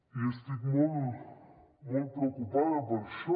i estic molt molt preocupada per això